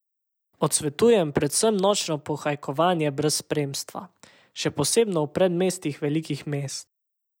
Odsvetujem predvsem nočno pohajkovanje brez spremstva, še posebno v predmestjih velikih mest.